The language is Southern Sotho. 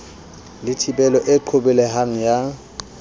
le thibelo e qobelehang ya